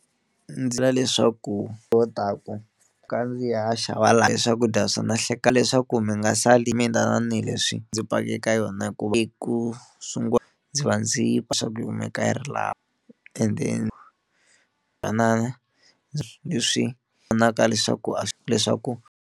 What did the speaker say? Ndzi leswaku lo taku ka ndzi ya xava laha hi swakudya swo na leswaku mi nga sali mi tanihileswi ndzi pake eka yona hikuva ku sungula ndzi va ndzi va swa yi kumeka yi ri laha ende fanaka leswaku a leswaku.